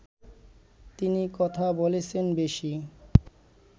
তিনি কথা বলেছেন বেশি